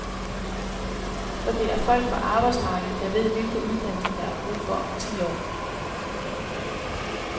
For det er folk fra arbejdsmarkedet, der ved, hvilke uddannelser, der er brug for om ti år.